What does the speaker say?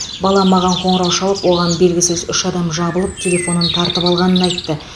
балам маған қоңырау шалып оған белгісіз үш адам жабылып телефонын тартып алғанын айтты